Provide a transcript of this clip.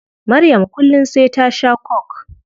Maryam kullum sai ta shaa coke